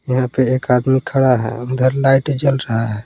यहां पे एक आदमी खड़ा है अंदर लाइटें जल रहा है।